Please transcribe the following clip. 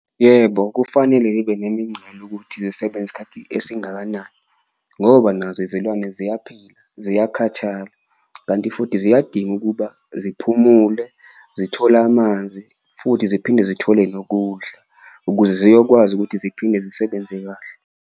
Yebo kufanele ngibe nemincele ukuthi zisebsnze isikhathi esingakanani ngoba nazo izilwane ziyaphila ziyakhathala, kanti futhi ziyadinga ukuba ziphumule, zithole amanzi futhi ziphinde zithole nokudla. Ukuze ziyokwazi ukuthi ziphinde zisebenze kahle.